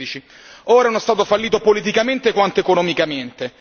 2013. Ora è uno Stato fallito politicamente quanto economicamente.